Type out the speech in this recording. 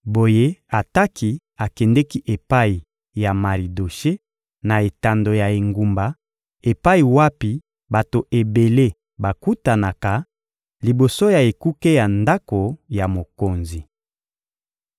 Boye Ataki akendeki epai ya Maridoshe na etando ya engumba, epai wapi bato ebele bakutanaka, liboso ya ekuke ya ndako ya mokonzi.